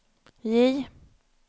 J